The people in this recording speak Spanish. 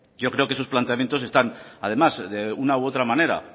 yo creo que sus planteamientos están además de una u otra manera